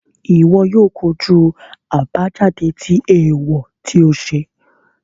Iwọ o kojú àbájáde tí eewọ ti o ṣe